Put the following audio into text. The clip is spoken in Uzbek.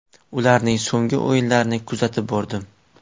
Ularning so‘nggi o‘yinlarini kuzatib bordim.